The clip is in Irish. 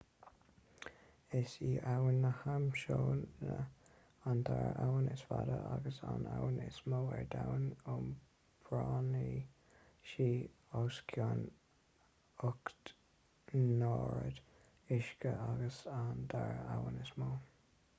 is í abhainn na hamasóine an dara abhainn is faide agus an abhainn is mó ar domhan iompraíonn sí os cionn 8 n-oiread uisce agus an dara abhainn is mó